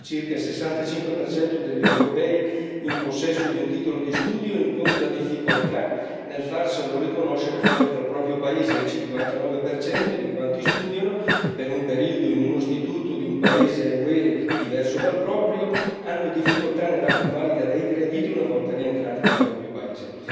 Ad oggi circa il 65 degli europei in possesso di un titolo di studio incontra difficoltà nel farselo riconoscere fuori dal proprio paese e il 59 di quanti studiano per un periodo in un istituto di un paese UE diverso dal proprio hanno difficoltà nella convalida dei crediti una volta rientrati nel proprio paese.